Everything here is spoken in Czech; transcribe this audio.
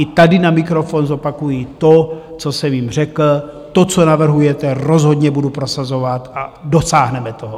I tady na mikrofon zopakuji to, co jsem jim řekl: To, co navrhujete, rozhodně budu prosazovat a dosáhneme toho.